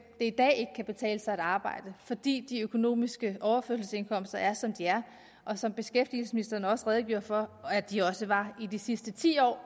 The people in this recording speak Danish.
det i dag ikke kan betale sig at arbejde fordi de økonomiske overførselsindkomster er som de er og som beskæftigelsesministeren også redegjorde for at de også var i de sidste ti år